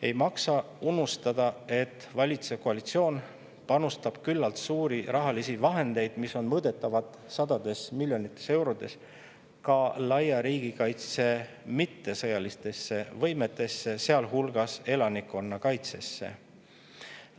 Ei maksa unustada, et valitsev koalitsioon panustab küllalt suuri rahalisi vahendeid, mis on mõõdetavad sadades miljonites eurodes, ka laia riigikaitse mittesõjalistesse võimetesse, sealhulgas elanikkonnakaitsesse.